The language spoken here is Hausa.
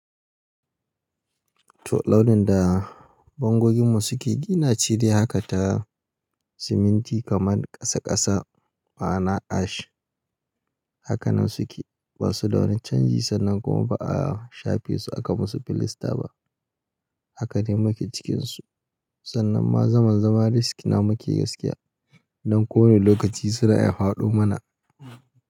To launin da bangoginmu suke, ina ce dai haka ta siminti kamar ƙasa ƙasa ma'ana ash. Haka nan suke, ba su da wani canji sannan kuma ba a shafe su aka musu filasta ba. Haka dai muke cikin su. Sannan ma zaman zaman riskina muke gaskiya. Don ko wane lokaci suna iya hwaɗo mana.